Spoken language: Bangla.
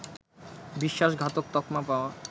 বিশ্বাসঘাতক তকমা পাওয়া